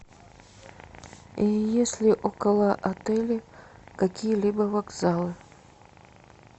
есть ли около отеля какие либо вокзалы